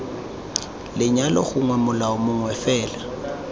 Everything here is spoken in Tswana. lenyalo gongwe molao mongwe fela